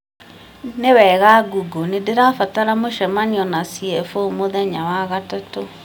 nĩ wega google nĩ ndĩrabatara mũcemanio na c.f.o mũthenya wa gatatũ